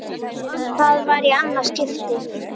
Það var í annað skipti.